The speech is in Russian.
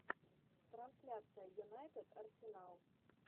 трансляция юнайтед арсенал